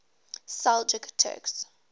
seljuk turks